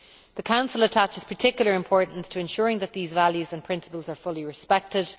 The Council attaches particular importance to ensuring that these values and principles are fully respected.